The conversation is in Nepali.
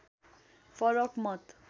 फरक मत